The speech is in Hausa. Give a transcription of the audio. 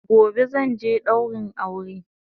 Gobe zanje daurin aure